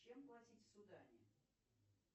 чем платить в судане